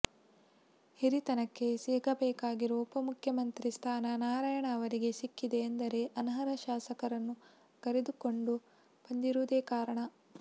ಹಿರಿತನಕ್ಕೆ ಸಿಗಬೇಕಿರುವ ಉಪಮುಖ್ಯಮಂತ್ರಿ ಸ್ಥಾನ ನಾರಾಯಣ ಅವರಿಗೆ ಸಿಕ್ಕಿದೆ ಎಂದರೆ ಅನರ್ಹ ಶಾಸಕರನ್ನು ಕರೆದುಕೊಂಡು ಬಂದಿರುವುದೇ ಕಾರಣ